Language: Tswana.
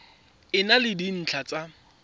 e na le dintlha tsa